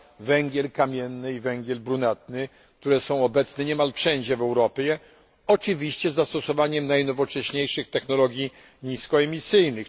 węgiel kamienny i węgiel brunatny, które są obecne niemal wszędzie w Europie, oczywiście z zastosowaniem najnowocześniejszych technologii niskoemisyjnych.